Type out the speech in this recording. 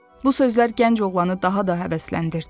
Bu sözlər gənc oğlanı daha da həvəsləndirdi.